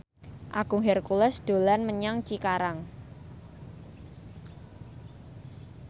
Agung Hercules dolan menyang Cikarang